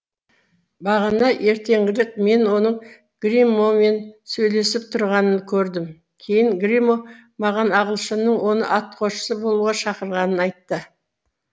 бағана ертеңгілік мен оның гримомен сөйлесіп тұрғанын көрдім кейін гримо маған ағылшынның оны атқосшы болуға шақырғанын айтты